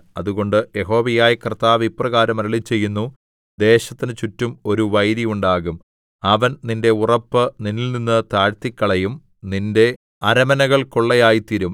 അതുകൊണ്ട് യഹോവയായ കർത്താവ് ഇപ്രകാരം അരുളിച്ചെയ്യുന്നു ദേശത്തിന് ചുറ്റും ഒരു വൈരി ഉണ്ടാകും അവൻ നിന്റെ ഉറപ്പ് നിന്നിൽനിന്ന് താഴ്ത്തിക്കളയും നിന്റെ അരമനകൾ കൊള്ളയായിത്തീരും